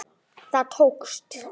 Það tókst.